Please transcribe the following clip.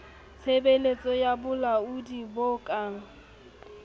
tshebeletso ya bolaodi bo ka